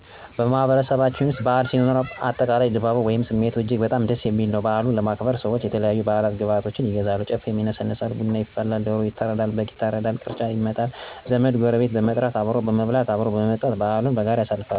በማህበረሰባችን ውስጥ በዓል ሲኖር፣ አጠቃላይ ድባቡ ወይም ስሜቱ እጅግ በጣም ደስ የሚል ነው። በዓሉን ለማክበር ሰዎች የተለያዩ የበዓል ግብዓቶችን ይገዛሉ፣ ጨፌ ይነሰነሳል፣ ቡና ይፈላል፣ ዶሮ ይታረዳል፣ በግ ይታረዳል፣ ቅርጫ ይመጣል፣ ዘመድ፣ ጎረቤት በመጥራት አብሮ በመብላት፣ አብሮ በመጠጣት በዓሉን በጋራ ያሳልፋሉ።